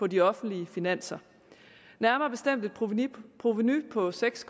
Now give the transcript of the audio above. de offentlige finanser nærmere bestemt et provenu provenu på seks